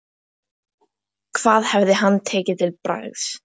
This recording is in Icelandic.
Hvað hefði hann tekið til bragðs?